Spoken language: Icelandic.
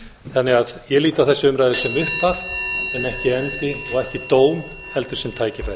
þannig að ég lít á þessa umræðu sem upphaf en ekki endi og ekki dóm heldur sem tækifæri